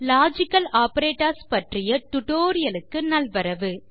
logical operators பற்றிய tutorialக்கு நல்வரவு